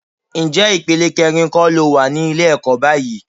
Ǹjẹ́ ìpele kẹrin kọ́ lo wà ní ilé ẹ̀kọ́ báyìí?